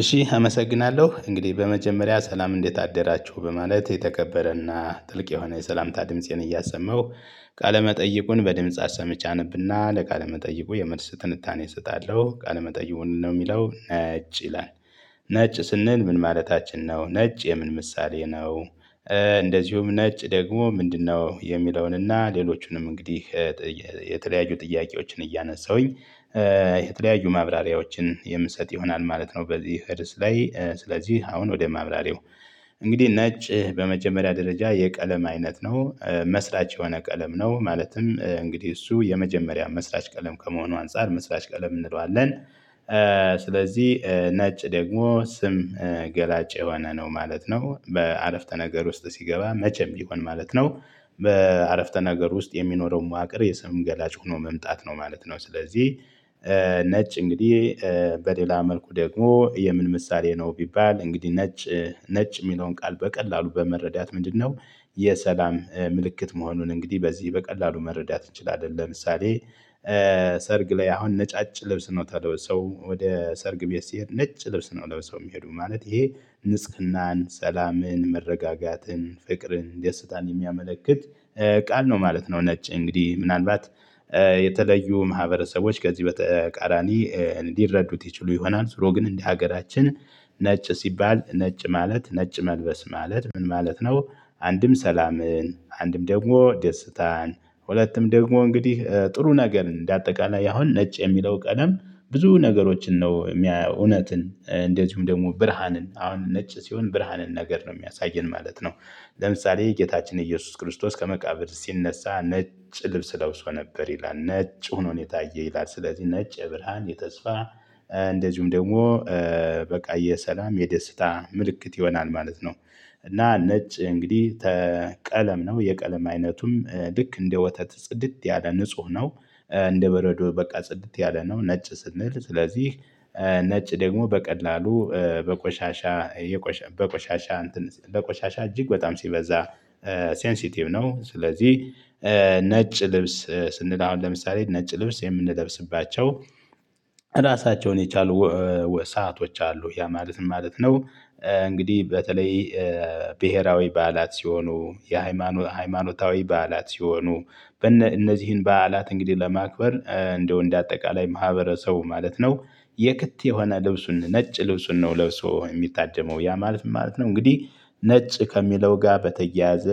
እሺ አመሰግናለሁ እንግዲህ በመጀመሪያ ሰላም እንዴት አደራችሁ በማለት የተከበረና ጥልቅ የሆነ የሰላምታ ድምፄን እያሰማሁ ቃለመጠይቁን በድምጽ አሰምቼ አነብና ለቃለመጠይቁ የመልስ ትንታኔ እሰጣለሁ ቃለመጠይቁ ምንድነው የሚለው ነጭ ይላል። ነጭ ስንል ምን ማለታችን ነው ነጭ የምን ምሳሌ ነው። እንደዚሁም ነጭ ደግሞ ምንድነው የሚለውንና ሌሎቹንም እንግዲህ የተለያዩ ጥያቄዎችን እያነሳሁኝ የተለያዩ ማብራሪያዎችን የምሰጥ ይሆናል ማለት ነው። በዚህ ርዕስ ላይ ስለዚህ አሁን ወደ ማብራሪያው። እንግዲህ ነጭ በመጀመሪያ ደረጃ የቀለም አይነት ነው መስራች የሆነ ቀለም ነው ማለትም እንግዲህ እሱ የመጀመሪያ መስራች ቀለም ከመሆኑ አንፃር መስራች ቀለም እንለዋለን። ስለዚህ ነጭ ደግሞ ስም ገላጭ የሆነ ነው ማለት ነው። በአረፍተ ነገር ውስጥ ሲገባ መቼም ቢሆን ማለት ነው። በአረፍተ ነገር ውስጥ የሚኖረው መዋቅር የስም ገላጭ ሆኖ መምጣት ነው ማለት ነው። ስለዚህ ነጭ እንግዲህ በሌላ መልኩ ደግሞ የምን ምሳሌ ነው ቢባል እንግዲህ ነጭ ነጭ የሚለውን ቃል በቀላሉ በመረዳት ምንድነው የሰላም ምልክት መሆኑን እንግዲህ በዚህ በቀላሉ መረዳት እንችላለን። ለምሳሌ ሰርግ ላይ አሁን ነጫጭ ልብስ ነው ታዲያ ሰው ወደ ሰርግ ቤት ሲሄድ ነጭ ልብስ ነው ለብሰው የሚሄዱ ማለት ይሄ ንጽህናን ሰላምን መረጋጋትን ፍቅርን ደስታን የሚያመለክት ቃል ነው ማለት ነው። ነጭ እንግዲህ ምናልባት የተለዩ ማህበረሰቦች ከዚህ በተቃራኒ እንዲረዱት ይችሉ ይሆናል ዙሮ ግን እንደ ሀገራችን ነጭ ሲባል ነጭ ማለት ነጭ መልበስ ማለት ምን ማለት ነው? አንድም ሰላምን አንድም ደግሞ ደስታን ሁለትም ደግሞ እንግዲህ ጥሩ ነገር እንደ አጠቃላይ አሁን ነጭ የሚለው ቀለም ብዙ ነገሮችን ነው የሚያየው እውነትን እንደዚሁም ደግሞ ብርሃንን አሁን ነጭ ሲሆን ብርሃንን ነገር ነው የሚያሳየን ማለት ነው። ለምሳሌ ጌታችን ኢየሱስ ክርስቶስ ከመቃብር ሲነሳ ነጭ ልብስ ለብሶ ነበር ይላል ነጭ ሆኖ ነው የታየ ይላል። ስለዚህ ነጭ የብርሃን የተስፋ እንደዚሁም ደግሞ በቃ የሰላም የደስታ ምልክት ይሆናል ማለት ነው። እና ነጭ እንግዲህ ቀለም ነው የቀለም አይነቱም ልክ እንደ ወተት ጽድት ያለ ንጹህ ነው። እንደ በረዶ በቃ ጽድት ያለ ነው ነጭ ስንል ስለዚህ ነጭ ደግሞ በቀላሉ በቆሻሻ የቆሻ በቆሻሻ እንትን በቆሻሻ እጅግ በጣም ሲበዛ ሴንሲቲቭ ነው። ስለዚህ ነጭ ልብስ ስንል አሁን ለምሳሌ ነጭ ልብስ የምንለብስባቸው ራሳቸውን የቻሉ ሰአቶች አሉ ያ ማለት ምን ማለት ነው? እንግዲህ በተለይ ብሄራዊ በዓላት ሲሆኑ የሃይማ ሃማኖታዊ በዓላት ሲሆኑ በእነ እነዚህን በዓላት እንግዲህ ለማክበር እንደው እንደ አጠቃላይ ማህበረሰቡ ማለት ነው። የክት የሆነ ልብሱን ነጭ ልብሱን ነው ለብሶ የሚታደመው ያ ማለት ምን ማለት ነው እንግዲህ? ነጭ ከሚለው ጋር በተያያዘ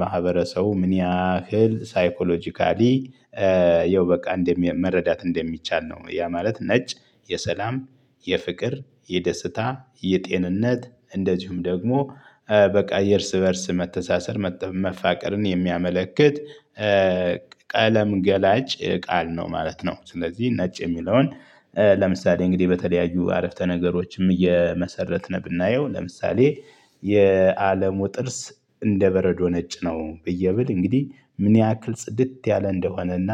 ማህበረሰቡ ምን ያህል ሳይኮሎጂካሊ ያው በቃ እንደሚ መረዳት እንደሚቻል ነው ያ ማለት ነጭ። የሰላም የፍቅር የደስታ የጤንነት እንደዚሁም ደግሞ በቃ የእርስ በእርስ መተሳሰር መፋቀርን የሚያመለክት ቀለም ገላጭ ቃል ነው ማለት ነው። ስለዚህ ነጭ የሚለውን ለምሳሌ እንግዲህ በተለያዩ አረፍተ ነገሮችም እየመሰረትን ብናየው ለምሳሌ የአለሙ ጥርስ እንደ በረዶ ነጭ ነው። ብዬ ብል እንግዲህ ምን ያህል ጽድት ያለ እንደሆነና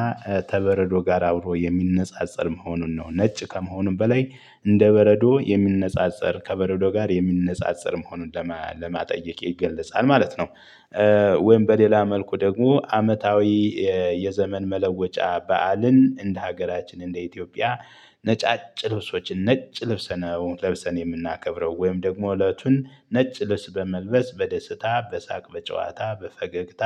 ተበረዶ ጋር አብሮ የሚነጻጸር መሆኑን ነው ነጭ ከመሆኑም በላይ እንደ በረዶ የሚነጻጸር ከበረዶ ጋር የሚነጻጸር መሆኑን ለማጠየቅ ይገለጻል ማለት ነው። ወይም በሌላ መልኩ ደግሞ አመታዊ የዘመን መለወጫ በዓልን እንደ ሀገራችን እንደ ኢትዮጵያ ነጫጭ ልብሶችን ነጭ ልብስ ነው ለብሰን የምናከብረው ወይም ደግሞ እለቱን ነጭ ልብስ በመልበስ በደስታ በሳቅ በጨዋታ በፈገግታ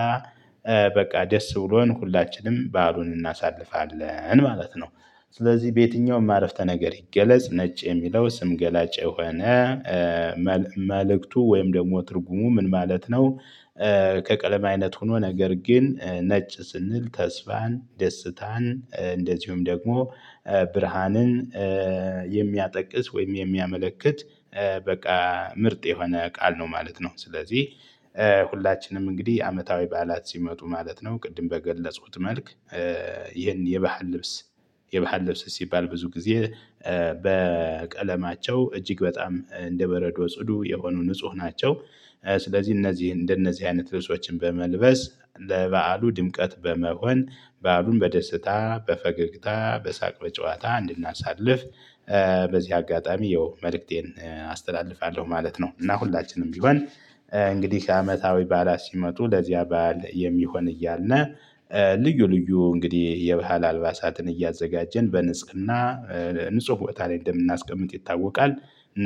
በቃ ደስ ብሎን ሁላችንም በዓሉን እናሳልፋለን ማለት ነው። ስለዚህ በየትኛውም አረፍተ ነገር ይገለጽ ነጭ የሚለው ስም ገላጭ የሆነ መልእክቱ ወይም ደግሞ ትርጉሙ ምን ማለት ነው? ከቀለም አይነት ሆኖ ነገር ግን ነጭ ስንል ተስፋን ደስታን እንደዚሁም ደግሞ ብርሃንን የሚያጠ ወይም የሚያመለክት በቃ ምርጥ የሆነ ቃል ነው ማለት ነው። ስለዚህ ሁላችንም እንግዲህ አመታዊ በዓላት ሲመጡ ማለት ነው ቅድም በገለጹት መልክ። ይህን የባህል ልብስ የባህል ልብስ ሲባል ብዙ ጊዜ በቀለማቸው እጅግ በጣም እንደ በረዶ ጽዱ የሆኑ ንጹህ ናቸው። ስለዚህ እነዚህ እንደነዚህ አይነት ልብሶችን በመልበስ ለበዓሉ ድምቀት በመሆን በዓሉን በደስታ በፈገግታ በሳቅ በጨዋታ እንድናሳልፍ በዚህ አጋጣሚ ያው መልእክቴን አስተላልፋለሁ ማለት ነው። እና ሁላችንም ቢሆን እንግዲህ አመታዊ ባዕላት ሲመጡ ለዚያ በዓል የሚሆን እያልነ ልዩ ልዩ እንግዲህ የባህል አልባሳትን እያዘጋጀን በንጽህና ንጹህ ቦታ ላይ እንደምናስቀምጥ ይታወቃል።